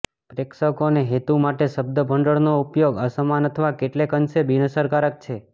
પ્રેક્ષકો અને હેતુ માટે શબ્દભંડોળનો ઉપયોગ અસમાન અથવા કેટલેક અંશે બિનઅસરકારક છે